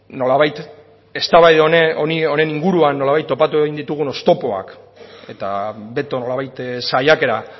nolabait eztabaida honen inguruan nolabait topatu egin ditugun oztopoak eta beto nolabait saiakera